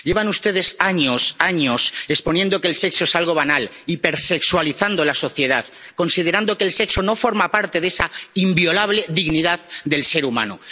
Llevan ustedes años, años exponiendo que el sexo es algo banal, hipersexualizando la sociedad, considerando que el sexo no forma parte de esa inviolable dignidad del ser humano.